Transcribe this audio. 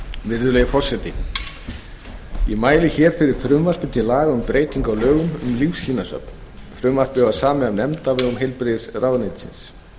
virðulegi forseti ég mæli fyrir frumvarpi til laga um breytingu á lögum um lífsýnasöfn frumvarpið var samið af nefnd á vegum heilbrigðisráðuneytisins